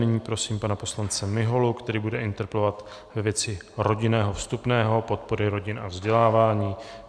Nyní prosím pana poslance Miholu, který bude interpelovat ve věci rodinného vstupného, podpory rodin a vzdělávání.